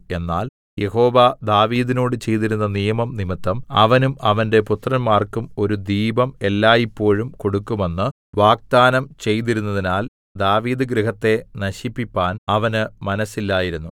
എന്നാൽ യഹോവ ദാവീദിനോട് ചെയ്തിരുന്ന നിയമം നിമിത്തം അവനും അവന്റെ പുത്രന്മാർക്കും ഒരു ദീപം എല്ലായ്പോഴും കൊടുക്കുമെന്ന് വാഗ്ദാനം ചെയ്തിരുന്നതിനാൽ ദാവീദ് ഗൃഹത്തെ നശിപ്പിപ്പാൻ അവന് മനസ്സില്ലായിരുന്നു